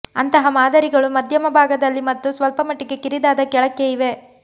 ಅಂತಹ ಮಾದರಿಗಳು ಮಧ್ಯದ ಭಾಗದಲ್ಲಿ ಮತ್ತು ಸ್ವಲ್ಪಮಟ್ಟಿಗೆ ಕಿರಿದಾದ ಕೆಳಕ್ಕೆ ಇವೆ